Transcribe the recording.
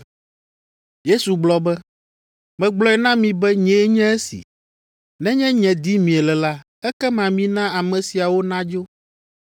Yesu gblɔ be, “Megblɔe na mi be nyee nye esi. Nenye nye dim miele la, ekema mina ame siawo nadzo.”